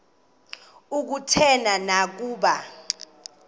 kutheni na ukuba